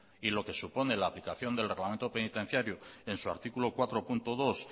y lo que supone la aplicación del reglamento penitenciario en su artículo cuatro punto dos